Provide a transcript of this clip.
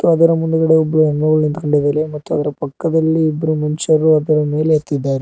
ಮತ್ತು ಅದರ ಮುಂದ್ಗಡೆ ಎರಡು ನಿಂತಿದ್ದಾರೆ ಪಕ್ಕದಲ್ಲಿ ಇಬ್ಬರು ಮನುಷ್ಯರು ಅದರ ಮೇಲೆ ಹತ್ತಿದ್ದಾರೆ.